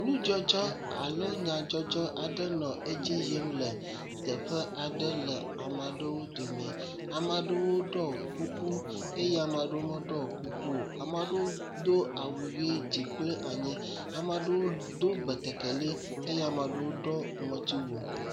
Nudzɔdzɔ alo nyadzɔdzɔ aɖe dzi yim le teƒe aɖe le ame aɖewo domi. Ame aɖewo ɖɔe kuku eye ame aɖewo me ɖɔ kuku o. Ame aɖewo do awu ʋi dzi kple anyi. Ame aɖewo do betekeli eye ame aɖewo do ŋɔti wu.